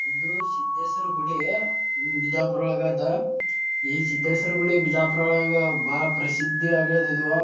ಇದು ಸಿದ್ದೇಶ್ವರ ಗುಡಿ ಬಿಜಾಪುರದೊಳಗ ಅದ ಈ ಸಿದ್ದೇಶ್ವರ ಗುಡಿ ಬಿಜಾಪುರ್ ಒಳಗ ಬಹಳ ಪ್ರಸಿದ್ದಿ ಅಗ್ಯದ ಇದು.